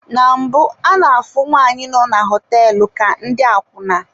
Na mbụ ana-afụ nwaanyị nọ na hoteelu ka ndị akwuna.